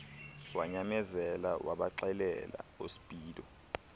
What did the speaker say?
wanyamezela wabaxelela oospeedo